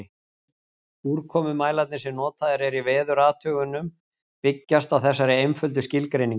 Úrkomumælarnir sem notaðir eru í veðurathugunum byggjast á þessari einföldu skilgreiningu.